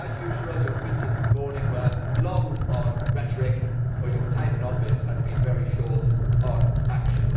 As usual, your speeches this morning were long on rhetoric but your time in office has been very short on action.